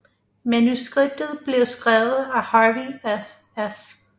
Manuskriptet blev skrevet af Harvey F